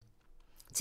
TV 2